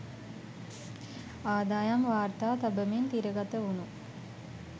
අදායම් වාර්තා තබමින් තිරගත වුනු